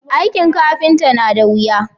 aikin kafinta na da wuya